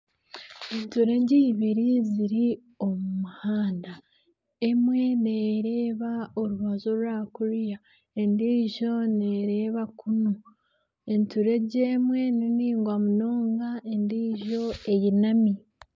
Enturegye eibiri ziri omu muhanda emwe nereeba orubaju orwakuriya endiijo nereeba kunu, enturegye emwe ninaingwa munonga endiijo einami.